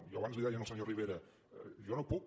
jo abans li ho deia al senyor rivera jo no puc